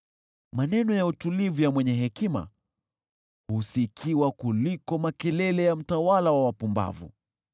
Maneno ya utulivu ya mwenye hekima husikiwa kuliko makelele ya mtawala wa wapumbavu.